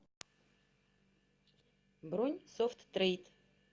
бронь софт трейд